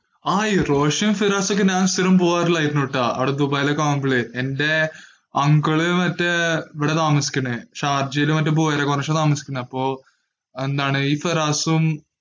ആയി. റോഷെ ഹിറാസെക്കെ ഞാൻ സ്ഥിരം പോകാറുള്ളത് ആയിരുന്നു ട്ടാ. അവിടെ ദുബൈയിൽ ഒക്കെ ആവുമ്പോൾ. എന്റെ uncle മറ്റേ എവിടെ ആണ് താമസിക്കുന്നെ, ഷാർജയിൽ മറ്റേ buhaira cornish അപ്പോ ഈ പിറസോയും